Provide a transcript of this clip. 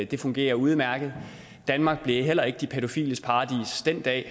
det fungerer udmærket danmark blev heller ikke de pædofiles paradis den dag